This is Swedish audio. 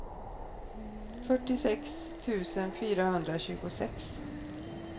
fyrtiosex tusen fyrahundratjugosex